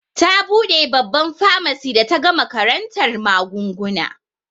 Ta buɗe babban famasi da ta gama karantar magunguna.